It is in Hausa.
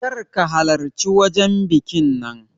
Kar ka halarci wajan bikin nan